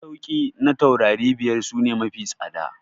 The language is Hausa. Masauki na taurari biyar su ne mafi tsada.